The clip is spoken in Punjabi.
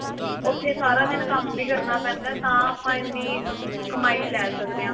ਉੱਥੇ ਸਾਰਾ ਦਿਨ ਕੰਮ ਵੀ ਕਰਨਾ ਪੈਂਦਾ ਤਾਂ ਆਪਾਂ ਇੰਨੀ ਕਮਾਈ ਲੈ ਸਕਦੇ ਆਂ